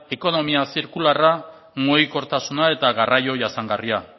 ekonomia zirkularra mugikortasuna eta garraio jasangarria